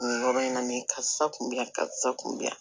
Yɔrɔ in na ne karisa kun bɛ yan karisa kun bɛ yan